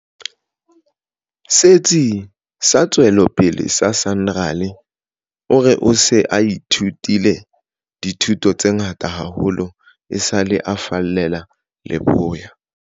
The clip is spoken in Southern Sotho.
Setsi sa Tswe lopele sa SANRAL, o re o se a ithutile dithuto tse ngata haholo esale a fallela leboya.